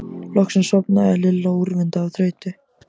Loksins sofnaði Lilla úrvinda af þreytu.